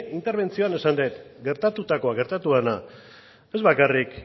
interbentzioan esan dut gertatutakoa gertatu dena ez bakarrik